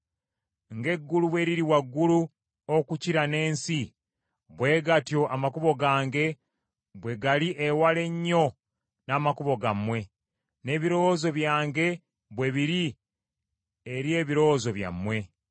“Ng’eggulu bwe liri waggulu okukira n’ensi, bwe gatyo amakubo gange bwe gali ewala ennyo n’amakubo gammwe, n’ebirowoozo byange bwe biri eri ebirowoozo byammwe.